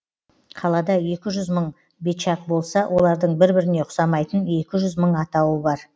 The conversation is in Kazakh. қалада екі жүз мың бечак болса олардың бір біріне ұқсамайтын екі жүз мың атауы бар